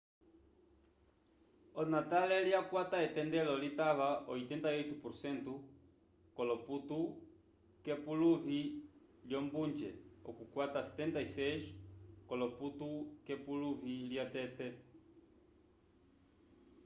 onatale lyakwata etendelo litava 88% k'olopontu k'epuluvi lyombunje okukwata 76 k'olopontu k'epuluvi lyatete